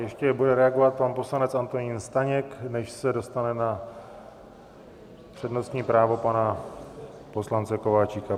Ještě bude reagovat pan poslanec Antonín Staněk, než se dostane na přednostní právo pana poslance Kováčika.